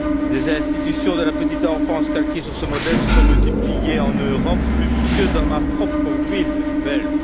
Des institutions de la petite enfance calquée sur ce modèle se sont multipliées en Europe, jusque dans ma propre ville belge.